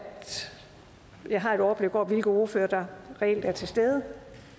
jeg også har et overblik over hvilke ordførere der reelt er til stede